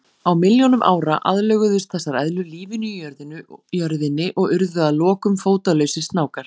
Á milljónum ára aðlöguðust þessar eðlur lífinu í jörðinni og urðu að lokum fótalausir snákar.